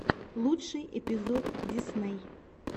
лучший эпизод дисней